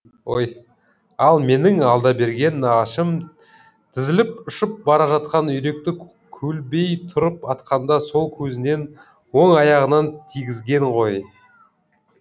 ал менің алдаберген нағашым тізіліп ұшып бара жатқан үйректі көлбей тұрып атқанда сол көзінен оң аяғынан тигізген ғой